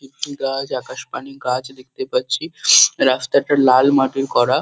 একটি গাছ আকাশপানি গাছ দেখতে পাচ্ছি। রাস্তাটা লাল মাটির করা ।